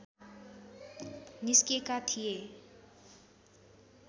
निस्केका थिए